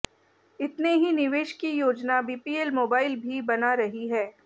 इतने ही निवेश की योजना बीपीएल मोबाइल भी बना रही है